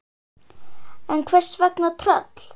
En hvers vegna tröll?